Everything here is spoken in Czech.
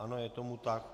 Ano, je tomu tak.